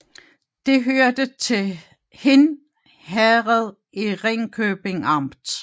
Det hørte til Hind Herred i Ringkøbing Amt